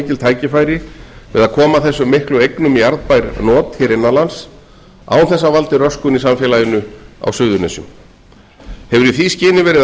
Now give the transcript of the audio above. tækifæri við að koma þessum miklu eignum í arðbær not hér innan lands án þess að það valdi röskun í samfélaginu á suðurnesjum hefur í því skyni verið